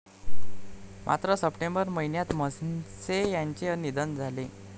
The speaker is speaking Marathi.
मात्र सप्टेंबर महिन्यात म्हसे यांचे निधन झाले.